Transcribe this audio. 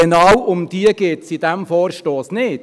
Genau um die geht es in diesem Vorstoss nicht.